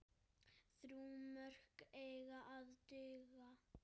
Þrjú mörk eiga að duga.